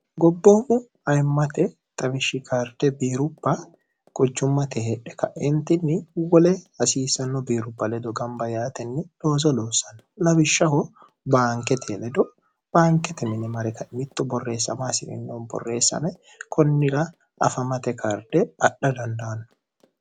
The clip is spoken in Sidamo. gobboommu ayimmate tawishshi karde biirupa gochummate hedhe ka'eentinni wole hasiisanno biirupa ledo gamba yaatenni doozo loossanno labishshaho baankete ledo baankete minimaari kaemitto borreessama asi'rinoo borreessame kunnira afamate karde adha dandaanno